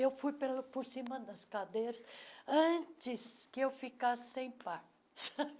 Eu fui pelo por cima das cadeiras antes que eu ficar sem par.